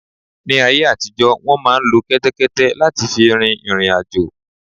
Ni áyé àtijọ́ wọ́n máà ń lo kẹ́tẹ́kẹ́té láti fi rin ìriǹ àjò.